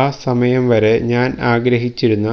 ആ സമയം വരെ ഞാന് ആഗ്രഹിച്ചിരുന്ന